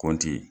Kɔnti